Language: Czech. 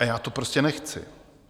A já to prostě nechci!